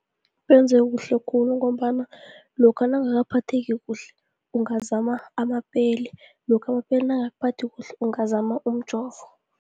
Benze kuhle khulu, ngombana lokha nowungakaphatheki kuhle, ungazama amapeli, lokha amapeli nangakuphathi kuhle ungazama umjovo.